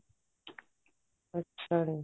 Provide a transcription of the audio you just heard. ਅੱਛਾ ਜੀ